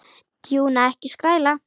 Tjúna, ekki skræla.